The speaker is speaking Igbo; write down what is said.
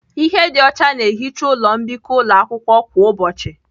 Ihe dị ọcha na-ehicha ụlọ mbikọ ụlọ akwụkwọ kwa ụbọchị